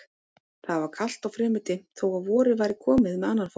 Það var kalt og fremur dimmt þó að vorið væri komið með annan fótinn.